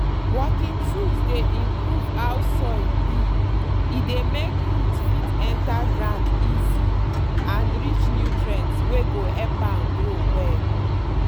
working tools dey improve how soil be e dey make root fit enter ground easy and reach nutrients wey go help am grow well.